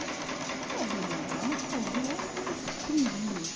Era bê êne agá, umas casinhas, umas umas tendinhas.